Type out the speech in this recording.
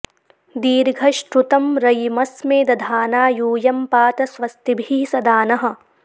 दी॒र्घ॒श्रुतं॑ र॒यिम॒स्मे दधा॑ना यू॒यं पा॑त स्व॒स्तिभिः॒ सदा॑ नः